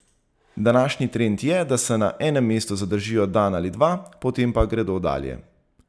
Današnji trend je, da se na enem mestu zadržijo dan ali dva, potem pa gredo dalje.